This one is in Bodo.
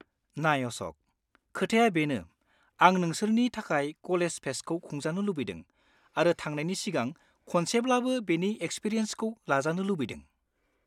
नाय अश'क, खोथाया बेनो आं नोंसोरनि थाखाय कलेज फेस्टखौ खुंजानो लुबैदों आरो थांनायनि सिगां खनसेब्लाबो बेनि एक्सपिरियान्सखौ लाजानो लुबैदों।